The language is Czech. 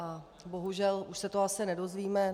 A bohužel už se to asi nedozvíme.